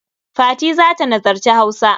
Fati za ta nazarci Hausa.